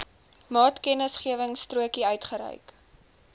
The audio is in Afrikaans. maatkennisgewingstrokie uitgereik